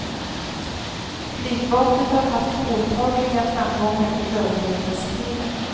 Flygvapnet har haft påtagliga framgångar i överlevnadsstriden.